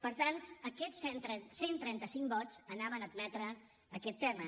per tant aquests cent i trenta cinc vots anaven a admetre aquest tema